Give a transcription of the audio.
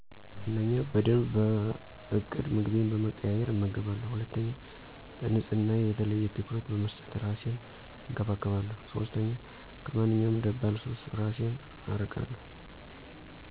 ፩) በደንብ በእቅድ ምግቤን በመቀያየር እመገባለሁ። ፪) ለንጽህናየ የተለየ ትኩረት በመስጠት እራሴን እንከባከባለሁ። ፫) ከማንኛውም ደባል ሱስ እራሴን አርቃለሁ።